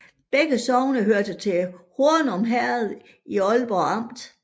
Begge sogne hørte til Hornum Herred i Ålborg Amt